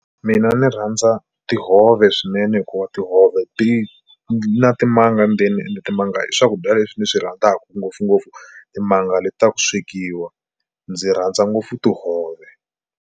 Mina ni rhandza tihove swinene hikuva tihove ti na timanga ndzeni ende timanga i swakudya leswi ni swi rhandzaka ngopfungopfu timanga leti ta ku swekiwa ndzi rhandza ngopfu tihove.